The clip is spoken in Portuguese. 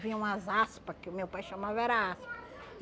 Vinha umas aspa, que o meu pai chamava era aspa.